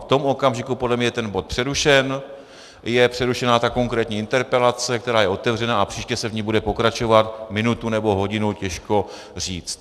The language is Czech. V tom okamžiku podle mě je ten bod přerušen, je přerušena ta konkrétní interpelace, která je otevřená, a příště se v ní bude pokračovat, minutu nebo hodinu těžko říct.